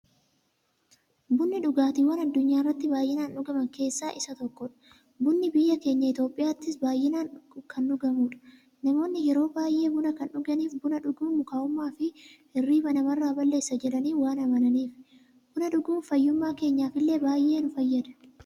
Bunni dhugaatiiwwan addunyaarratti baay'inaan dhugaman keessaa isa tokkodha. Bunni biyya keenya Itiyoophiyaattis baay'inaan kan dhugamuudha. Namoonni yeroo baay'ee buna kan dhuganiif, buna dhuguun mukaa'ummaafi hirriiba namarraa balleessa jedhanii waan amananiifi. Buna dhuguun fayyummaa keenyaf illee baay'ee nu fayyada.